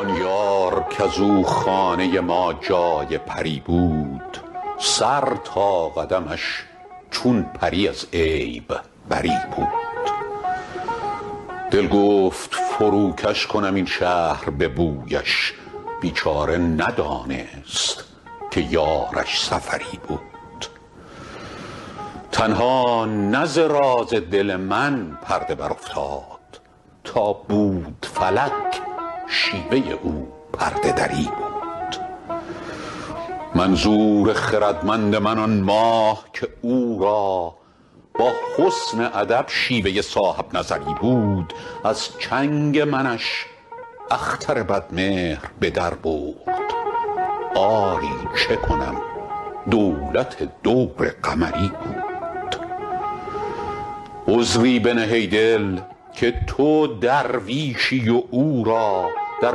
آن یار کز او خانه ما جای پری بود سر تا قدمش چون پری از عیب بری بود دل گفت فروکش کنم این شهر به بویش بیچاره ندانست که یارش سفری بود تنها نه ز راز دل من پرده برافتاد تا بود فلک شیوه او پرده دری بود منظور خردمند من آن ماه که او را با حسن ادب شیوه صاحب نظری بود از چنگ منش اختر بدمهر به در برد آری چه کنم دولت دور قمری بود عذری بنه ای دل که تو درویشی و او را در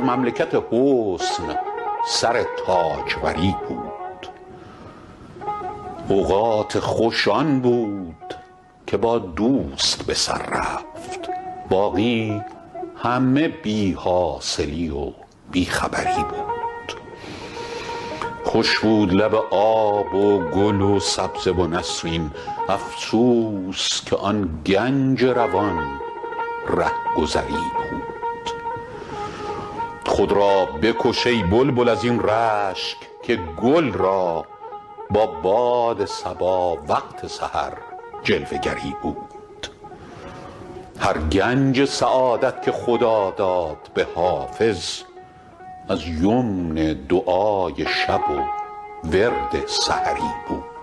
مملکت حسن سر تاجوری بود اوقات خوش آن بود که با دوست به سر رفت باقی همه بی حاصلی و بی خبری بود خوش بود لب آب و گل و سبزه و نسرین افسوس که آن گنج روان رهگذری بود خود را بکش ای بلبل از این رشک که گل را با باد صبا وقت سحر جلوه گری بود هر گنج سعادت که خدا داد به حافظ از یمن دعای شب و ورد سحری بود